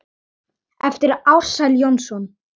eftir Ársæl Jónsson